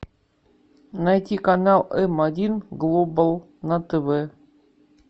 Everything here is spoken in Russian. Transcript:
найти канал м один глобал на тв